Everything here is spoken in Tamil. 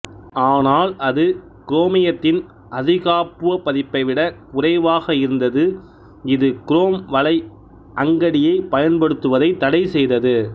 ஆனால் அது குரேமியத்தின்அதிகாப்புவ பதிப்பை விட குறைவாக இருந்ததுஇது குரேம் வலை அங்கடியை பயன்படுத்துவதை தடைசெய்தது